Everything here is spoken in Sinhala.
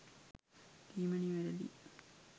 කීම නිවැරදියි